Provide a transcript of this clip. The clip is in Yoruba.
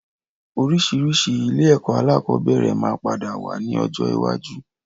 Oríṣiríṣi ilé ẹ̀kọ́ alakọ̀bẹ́ẹ́rẹ̀ máa padà wá ní ọjọ́ iwájú